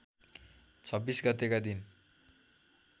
२६ गतेका दिन